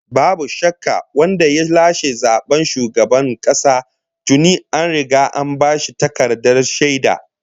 Babu shakka, wanda ya lashe zaben shugaban kasa tuni an riga an bashi takardar shaida!